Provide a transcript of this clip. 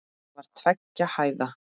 Það var tveggja hæða.